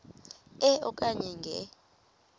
e okanye nge